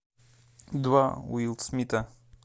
два уилл смита